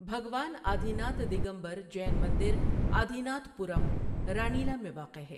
بھگوان آدی ناتھ دگمبر جین مندر Adinathpuram, Ranila میں واقع ہے۔